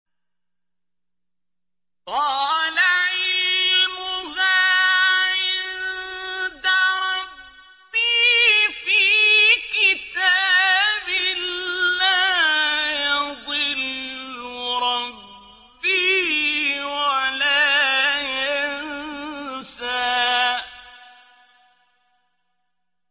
قَالَ عِلْمُهَا عِندَ رَبِّي فِي كِتَابٍ ۖ لَّا يَضِلُّ رَبِّي وَلَا يَنسَى